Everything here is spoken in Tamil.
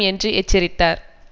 என்று எச்சரித்தார்